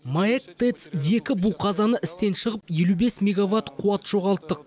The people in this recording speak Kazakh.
маэк тэц екі бу қазаны істен шығып елу бес мегаватт қуат жоғалттық